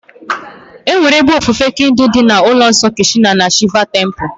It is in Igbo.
Enwere ebe ofufe Hindu dị ka ụlọ nsọ Krishna na Shiva Temple.